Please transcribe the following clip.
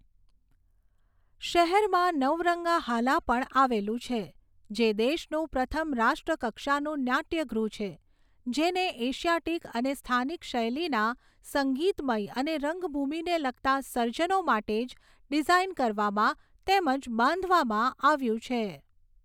શહેરમાં નવરંગાહાલા પણ આવેલું છે જે દેશનું પ્રથમ રાષ્ટ્ર કક્ષાનું નાટ્યગૃહછે જેને એશિયાટિક અને સ્થાનિક શૈલીના સંગીતમય અને રંગભૂમિને લગતા સર્જનો માટે જ ડીઝાઇન કરવામાં તેમજ બાંધવામાં આવ્યું છે.